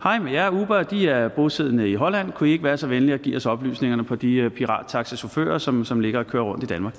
og hej med jer uber er bosiddende i holland kunne i ikke være så venlige at give os oplysningerne på de pirattaxachauffører som som ligger og kører rundt i danmark og